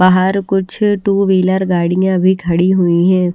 बाहर कुछ two wheeler गाड़ियां भी खड़ी हुई हैं।